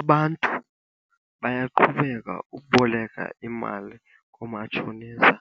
Abantu bayaqhubeka ukuboleka imali koomatshonisa